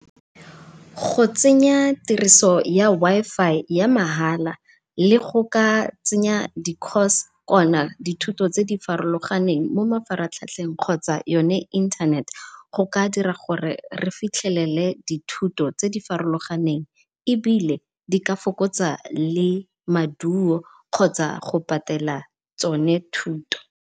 Go tsenya tiriso ya Wi-Fi ya mahala le go ka tsenya di course kona di thuto tse di farologaneng mo mafaratlhatlheng kgotsa yone internet, go ka dira gore re fitlhelele di thuto tse di farologaneng ebile di ka fokotsa le maduo kgotsa go patela tsone thuto.